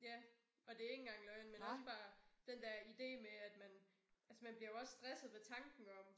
Ja og det ikke engang løgn men også bare den dér ide med at man altså man bliver jo også stresset ved tanken om